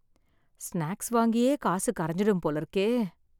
snacks வாங்கியே காசு கரைஞ்சுடும் போல இருக்கே